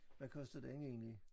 Hvad kostede den egentlig?